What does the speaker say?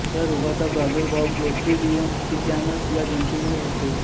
या रोगाचा प्रादुर्भाव क्लोस्टिडियम टिटॅनस या जंतूंमुळे होतो